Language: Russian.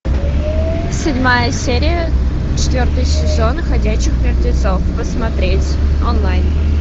седьмая серия четвертый сезон ходячих мертвецов смотреть онлайн